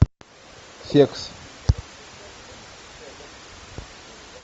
секс